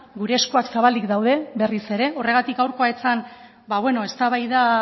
gure eskuak zabalik daude berriz ere horregatik gaurkoa ez zen ba beno eztabaida